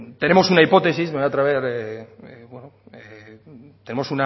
tenemos una hipótesis me voy a atrever tenemos